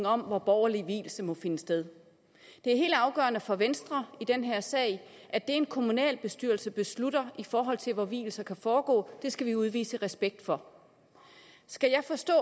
om hvor borgerlige vielser må finde sted det er helt afgørende for venstre i den her sag at det en kommunalbestyrelse beslutter i forhold til hvor vielser kan foregå skal vi udvise respekt for skal jeg forstå